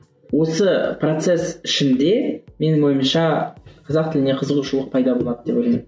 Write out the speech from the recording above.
осы процесс ішінде менің ойымша қазақ тіліне қызығушылық пайда болады деп ойлаймын